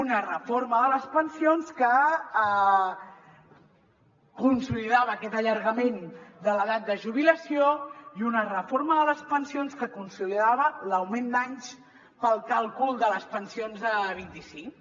una reforma de les pensions que consolidava aquest allargament de l’edat de jubilació i una reforma de les pensions que consolidava l’augment d’anys per al càlcul de les pensions a vint i cinc